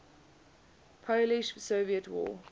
polish soviet war